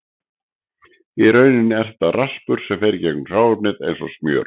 Í rauninni er þetta raspur sem fer í gegnum hráefnið eins og smjör.